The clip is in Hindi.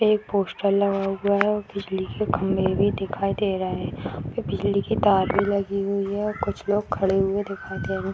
एक पोस्टर लगा हुआ है और बिजली के खम्भे भी दिखाई दे रहे हैं। यहाँ पे बिजली के तारे लगी हुई हैं और कुछ लोग खड़े हुए दिखाई दे रहे--